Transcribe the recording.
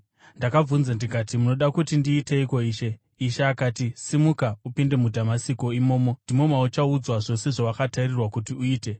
“Ndakabvunza ndikati, ‘Munoda kuti ndiiteiko Ishe?’ “Ishe akati, ‘Simuka, upinde muDhamasiko. Imomo ndimo mauchandoudzwa zvose zvawakatarirwa kuti uite.’